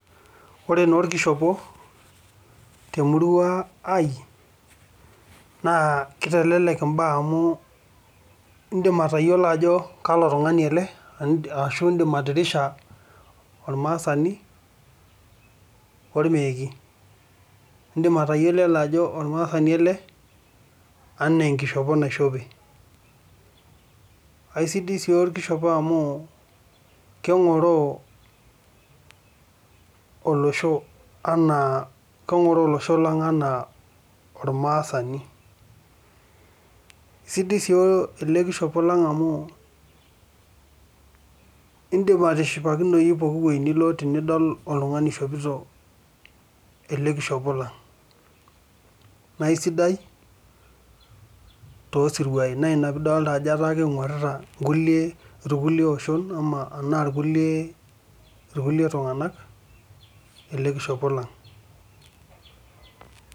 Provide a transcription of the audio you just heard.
oree naa orkishopo teemurua aii naa keitelelek imbaa amu iindim atayiolo ajo kalo tung'ani ele ashuu iindim atirisha ormaasani ormeeki iindim atayiolo ele ajo ormaasani ele enaa enkishopo naishope aisidai sii orkishopo amuu keng'oroo olosho enaa keng'oroo olosho lang' enaa ormaasani sidai sii ele kishopo lang' amu iindip atishipakinoyu pooki wei nilo tenidol otung'ani oishopito ele kishopo lang' naa aisidai too sirwaai na ina piidolta ajo keing'orita inkulie itkulie oshon enaa irkulie tung'anak ele kishopo lang' .